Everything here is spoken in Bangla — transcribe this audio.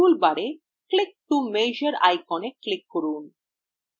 টুলবারেclick to measure iconএ click করুন